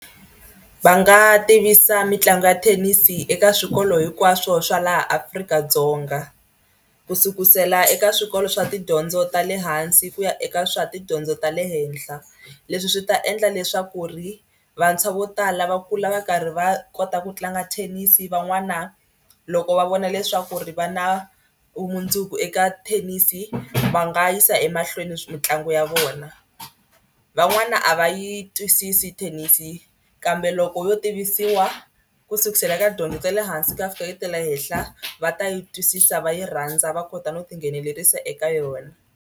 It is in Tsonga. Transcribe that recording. Va nga tivisa mitlangu ya thenisi eka swikolo hinkwaswo swa laha Afrika-Dzonga ku sukusela eka swikolo swa tidyondzo ta le hansi ku ya eka swa tidyondzo ta le henhla. Leswi swi ta endla leswaku ri vantshwa vo tala va kula va karhi va kota ku tlanga thenisi van'wana loko va vona leswaku ri va na mundzuku eka thenisi va nga yisa emahlweni mitlangu ya vona. Van'wana a va yi twisisi thenisi kambe loko yo tivisiwa ku sukusela ka dyondzo ya le hansi ku ya fika ka ta le henhla va ta yi twisisa va yi rhandza va kota no tinghenelerisa eka yona.